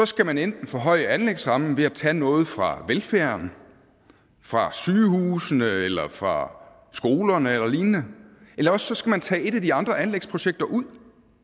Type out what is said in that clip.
skal man enten forhøje anlægsrammen ved at tage noget fra velfærden fra sygehusene eller fra skolerne eller lignende eller også skal man tage et af de andre anlægsprojekter ud